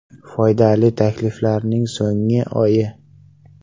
Foydali takliflarning so‘nggi oyi.